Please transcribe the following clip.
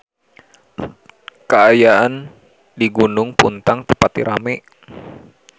Kaayaan di Gunung Puntang teu pati rame